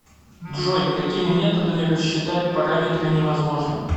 джой какими методами расчитать параметры невозможно